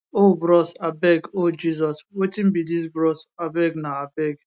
oh bros abeg oh jesus wetin be dis bros abeg na abeg